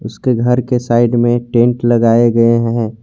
उसके घर के साइड में टेंट लगाए गए हैं।